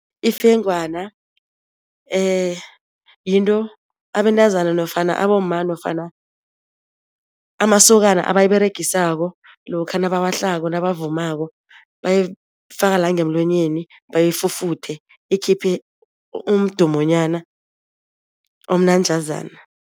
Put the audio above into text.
Ifengwana yinto abentazana nofana abomma nofana amasokana abayiberegisako lokha nabawahlako nabavumako, bayifaka la ngemlonyeni bayifufuthe ikhiphe umdumonyana omnanjazana.